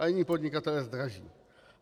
A jiní podnikatelé zdraží.